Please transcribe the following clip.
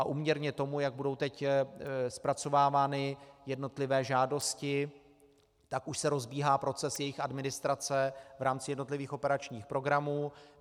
A úměrně tomu, jak budou teď zpracovávány jednotlivé žádosti, tak už se rozbíhá proces jejich administrace v rámci jednotlivých operačních programů.